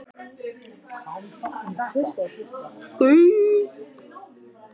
Thorberg, lækkaðu í græjunum.